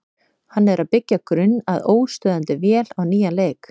Hann er að byggja grunn að óstöðvandi vél á nýjan leik.